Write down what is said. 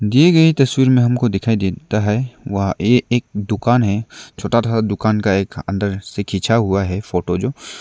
दीए गई तस्वीर में हमको दिखाई देता है वहा ए एक दुकान है छोटा था दुकान का एक अंदर से खींचा हुआ है फोटो जो --